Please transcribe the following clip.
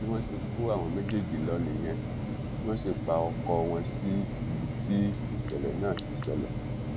bí wọn ṣe kó àwọn méjèèjì lọ nìyẹn tí wọn sì pa ọkọ wọn sí ibi tíṣẹlẹ náà ti ṣẹlẹ